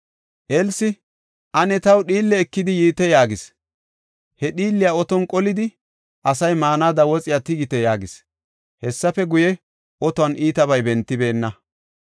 Elsi, “Ane taw dhiille ekidi yiite” yaagis. He dhiilliya otuwan qolidi, “Asay maanada woxiya tigite” yaagis. Hessafe guye, otuwan iitabay bentibeenna.